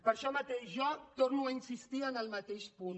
per això mateix jo torno a insistir en el mateix punt